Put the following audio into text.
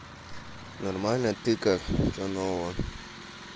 нормально ты как что нового